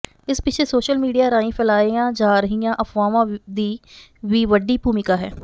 ਇਸ ਪਿਛੇ social media ਰਾਹੀਂ ਫੈਲਾਈਆਂ ਜਾ ਰਹੀਆਂ ਅਫਵਾਹਾਂ ਦੀ ਵੀ ਵਡੀ ਭੂਮਿਕਾ ਹੈ